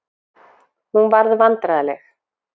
Hún varð vandræðaleg.